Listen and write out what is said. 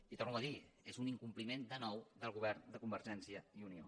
i ho torno a dir és un incompliment de nou del govern de convergència i unió